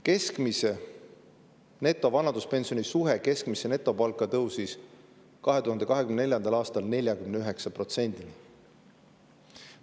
Keskmise netovanaduspensioni suhe keskmisse netopalka tõusis 2024. aastal 49%‑ni.